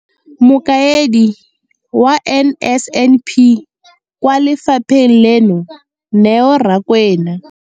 Mokaedi wa NSNP kwa lefapheng leno, Neo Rakwena.